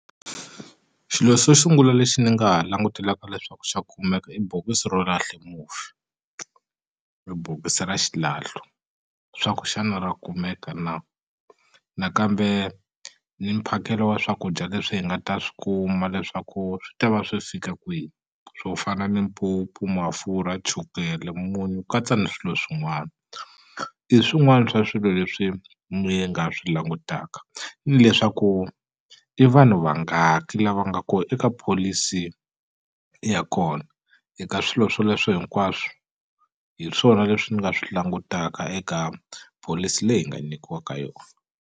Xilo xo sungula lexi ni nga ha langutelaka leswaku xa kumeka i bokisi ro lahla mufi hi bokisi ra xilahlo swaku xana ra kumeka na nakambe ni mphakelo wa swakudya leswi hi nga ta swi kuma leswaku swi ta va swi fika kwihi swo fana ni mpupu mafurha chukele munyu katsa ni swilo swin'wana i swin'wana swa swilo leswi mi nga swi langutaka ni leswaku i vanhu va nga ki lava nga ko eka pholisi ya kona eka swilo swoleswo hinkwaswo hi swona leswi ni nga swi langutaka eka pholisi leyi hi nga nikiwaka yona.